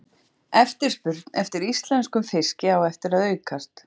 Eftirspurn eftir íslenskum fiski á eftir að aukast.